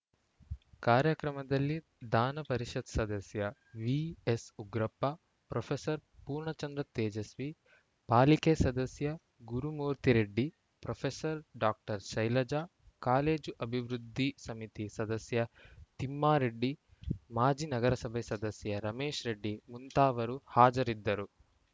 ಕಾರ್ಯಕ್ರಮದಲ್ಲಿ ಧಾನ ಪರಿಷತ್‌ ಸದಸ್ಯ ವಿಎಸ್‌ಉಗ್ರಪ್ಪ ಪ್ರೊಫೆಸರ್ ಪೂರ್ಣಚಂದ್ರ ತೇಜಸ್ವಿ ಪಾಲಿಕೆ ಸದಸ್ಯ Gurumurthy Reddy professor doctor Shailaja college ಅಭಿವೃದ್ಧಿ ಸಮಿತಿ ಸದಸ್ಯ ತಿಮ್ಮಾರೆಡ್ಡಿ ಮಾಜಿ ನಗರಸಭೆ ಸದಸ್ಯ ರಮೇಶ್‌ ರೆಡ್ಡಿ ಮುಂತಾವರು ಹಾಜರಿದ್ದರು